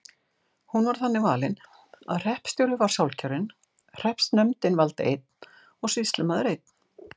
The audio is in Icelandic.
Hún var þannig valin að hreppstjóri var sjálfkjörinn, hreppsnefndin valdi einn og sýslumaður einn.